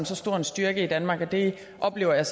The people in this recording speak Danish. så stor styrke i danmark det oplever jeg